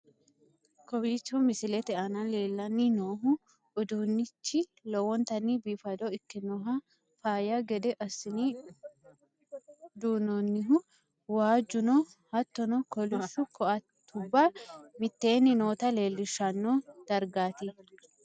kowiicho msilete aana leellanni no uduunnichi lowontanni biifado ikkinohu faayya gede assi'ne duunoonnihu waajjuno hattono, koliishshu ko'attebbua mitteenni nootta leellishshanno dargaati?